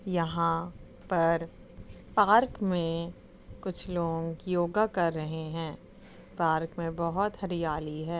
यहां पर पार्क में कुछ लोग योगा कर रहे हैं पार्क बहोत हरियाली है।